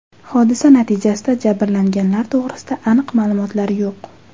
Hodisa natijasida jabrlanganlar to‘g‘risida aniq ma’lumotlar yo‘q .